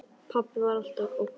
Pabbi var alltaf ógn.